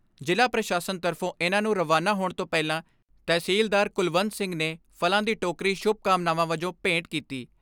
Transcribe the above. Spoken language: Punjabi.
ਜ਼ਿਲ੍ਹਾ ਪ੍ਰਸ਼ਾਸਨ ਤਰਫੋਂ ਇਨ੍ਹਾਂ ਨੂੰ ਰਵਾਨਾ ਹੋਣ ਤੋਂ ਪਹਿਲਾਂ ਤਹਿਸੀਲਦਾਰ ਕੁਲਵੰਤ ਸਿੰਘ ਨੇ ਫਲਾਂ ਦੀ ਟੋਕਰੀ ਸ਼ੁਭ ਕਾਮਨਾਵਾਂ ਵਜੋਂ ਭੇਂਟ ਕੀਤੀ।